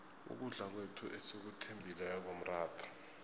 ukudla kwethu esikuthembileko mratha